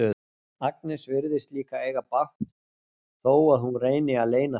Agnes virðist líka eiga bágt þó að hún reyni að leyna því.